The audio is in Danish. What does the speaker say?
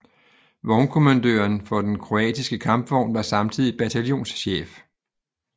Vognkommandøren for den Kroatiske kampvogn var samtidig bataljonschef